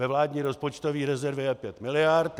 Ve vládní rozpočtové rezervě je pět miliard.